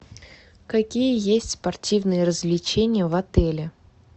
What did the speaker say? какие есть спортивные развлечения в отеле